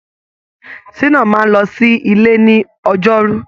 Ṣíná máa lọ sí ilé ní ọjọrú